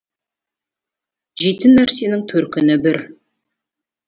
жейтін нәрсенің төркіні бір